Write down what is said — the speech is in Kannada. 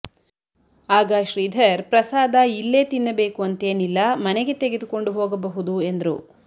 ಆಗ ಶ್ರೀಧರ್ ಪ್ರಸಾದ ಇಲ್ಲೇ ತಿನ್ನ ಬೇಕು ಅಂತೇನಿಲ್ಲ ಮನೆಗೆ ತೆಗೆದುಕೊಂಡು ಹೋಗ ಬಹುದು ಎಂದ್ರು